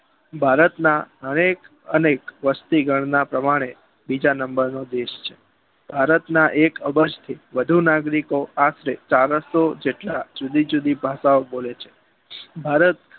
ભારતના દરેક અને વસ્તીગણના પ્રમાણે બીજા નંબરનો દેશ છે ભારતના એક અબજ થી વધુ નાગરિકો આશરે ચારસો જેટલા જુદી જુદી ભાષા ઓં બોલે છે ભારત